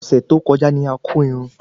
Ọsẹ tó kọjá ní a kò Irún